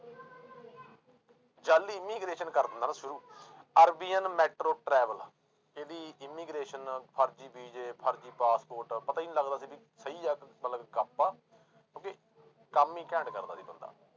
ਜਾਲੀ immigration ਕਰ ਦਿੰਦਾ ਨਾ ਸ਼ੁਰੂ ਅਰਬੀਅਨ ਮੈਟਰੋ ਟਰੈਵਲ ਇਹਦੀ immigration ਫ਼ਰਜ਼ੀ ਵੀਜ਼ੇ ਫ਼ਰਜ਼ੀ ਪਾਸਪੋਰਟ ਪਤਾ ਹੀ ਨੀ ਲੱਗਦਾ ਸੀ ਵੀ ਸਹੀ ਆ ਮਤਲਬ ਕਿ ਕਿਉੁਂਕਿ ਕੰਮ ਹੀ ਘੈਂਟ ਕਰਦਾ ਸੀ ਬੰਦਾ।